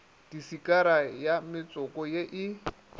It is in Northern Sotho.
disikara ya metsoko ye e